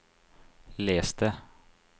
les det